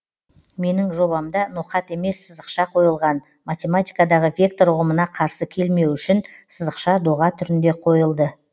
менің жобамда ноқат емес сызықша қойылған математикадағы вектор ұғымына қарсы келмеуі үшін сызықша доға түрінде қойылды